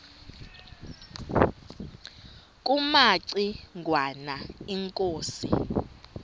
kumaci ngwana inkosi